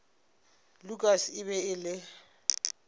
lukas e be e le